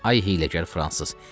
Ay hiyləgər fransız!